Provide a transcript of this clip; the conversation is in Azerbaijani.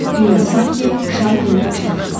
Dünya sanki Şarninin başına fırlandı.